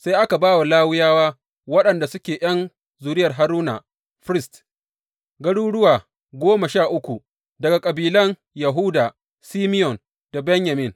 Sai aka ba wa Lawiyawa waɗanda suke ’yan zuriyar Haruna, firist, garuruwa goma sha uku daga kabilan Yahuda, Simeyon da Benyamin.